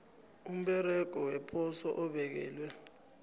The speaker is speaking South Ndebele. umsebenzi weposo obekelwe